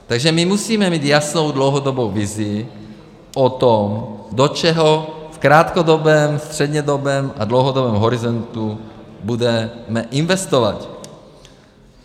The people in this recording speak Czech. Takže my musíme mít jasnou dlouhodobou vizi o tom, do čeho v krátkodobém, střednědobém a dlouhodobém horizontu budeme investovat.